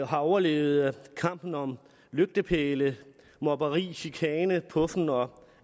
har overlevet kampen om lygtepæle mobberi chikane puffen og